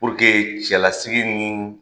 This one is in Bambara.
puruke cɛla sigi ni